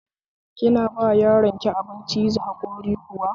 Kina ba yaronki abin ciza hakori kuwa?